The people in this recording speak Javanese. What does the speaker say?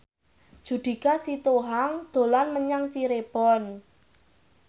Judika Sitohang dolan menyang Cirebon